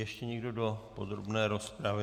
Ještě někdo do podrobné rozpravy?